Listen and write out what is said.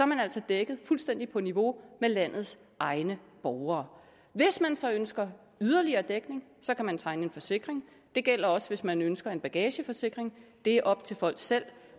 man altså dækket fuldstændig på niveau med landets egne borgere hvis man så ønsker yderligere dækning kan man tegne en forsikring det gælder også hvis man ønsker en bagageforsikring det er op til folk selv